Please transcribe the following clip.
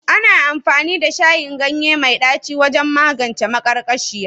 Ana amfani da shayin ganye mai ɗaci wajen magance maƙarƙashiya